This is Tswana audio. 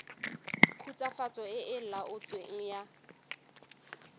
khutswafatso e e laotsweng fa